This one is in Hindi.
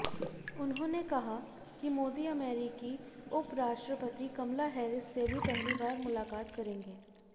उन्होंने कहा कि मोदी अमेरिकी उपराष्ट्रपति कमला हैरिस से भी पहली बार मुलाकात करेंगे